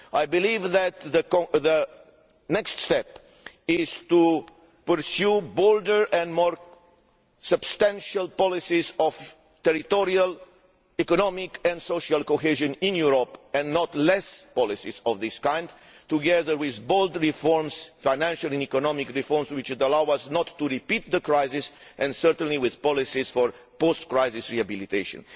I believe that the next step is to pursue bolder and more substantial policies of territorial, economic and social cohesion in Europe and not fewer policies of this kind together with bold reforms, financial and economic reforms which would allow us not to repeat the crisis, and, certainly, with policies for post crisis rehabilitation.